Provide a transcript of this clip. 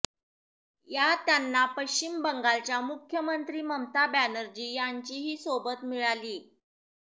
यात त्यांना पश्चिम बंगालच्या मुख्यमंत्री ममता बॅनर्जी यांचीही सोबत मिळालीय